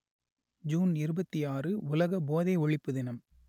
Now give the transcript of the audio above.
June இருபத்தி ஆறு உலக போதை ஒழிப்பு தினம்